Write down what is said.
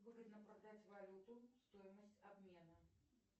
выгодно продать валюту стоимость обмена